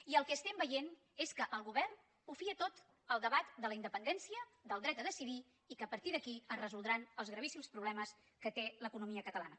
i el que estem veient és que el govern ho fia tot al debat de la independència del dret a decidir i que a partir d’aquí es resoldran els gravíssims problemes que té l’economia catalana